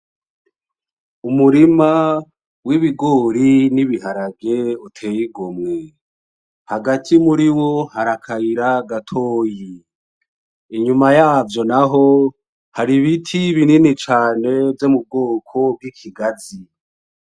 Umurima w'ibigori n'ibiharage uteye igomwe, hagati muri wo hari akayira gatoyi, inyuma yavyo naho hari ibiti binini cane vyo mu bwoko bw'ikigazi.